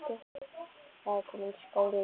Það er kominn skóli.